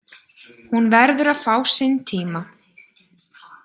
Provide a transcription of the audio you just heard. Hún verður að fá sinn tíma.